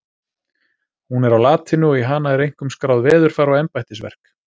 Hún er á latínu og í hana er einkum skráð veðurfar og embættisverk.